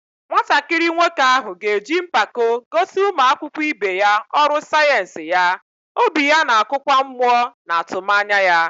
Nwatakịrị nwoke ahụ ga-eji mpako gosi ụmụ akwụkwọ ibe ya ọrụ sayensị ya, obi ya na-akụkwa mmụọ na atụmanya ya.